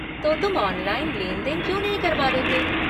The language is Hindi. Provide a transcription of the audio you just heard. तो तुम ऑनलाइन लेन देन क्यों नहीं करवा लेते?